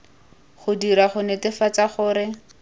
go dirwa go netefatsa gore